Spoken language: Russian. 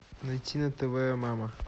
найти на тв мама